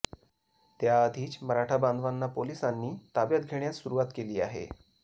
त्याआधीच मराठा बांधवांना पोलिसांनी ताब्यात घेण्यास सुरुवात केली आहे